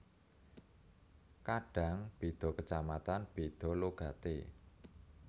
Kadang beda kacamatan beda logate